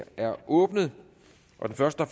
er åbnet og den første